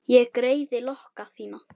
Ég greiði lokka þína.